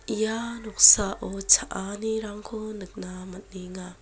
ia noksao cha·anirangko nikna man·enga.